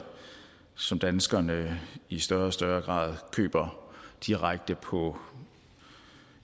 som danskerne i større og større grad køber direkte på